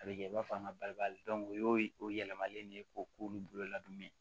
A bɛ kɛ i b'a fɔ an ka bari ali o y'o o yɛlɛmalen de ye k'o k'olu bolo la dun ye